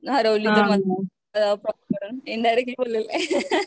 Indirectly बोललेले.